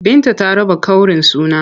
Binta ta raba ƙaurin suna.